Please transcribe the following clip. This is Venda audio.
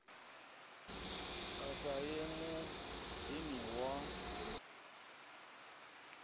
a sa ye muḓini wa